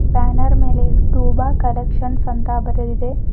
Banner ಮೇಲೆ ತೋಬ collection ಅಂತ ಬರೆದಿದೆ.